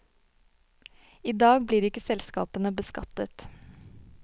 I dag blir ikke selskapene beskattet.